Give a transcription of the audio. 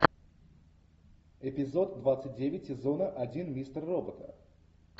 эпизод двадцать девять сезона один мистер робота